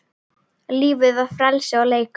Lífið var frelsi og leikur.